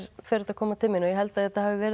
fer þetta að koma til mín og ég held að þetta hafi verið